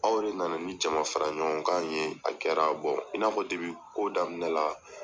Aw de na na ni jamafara ɲɔgɔnkan in ye a kɛra in n'a fɔ ko daminɛ la.